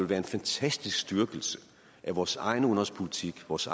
være en fantastisk styrkelse af vores egen udenrigspolitik vores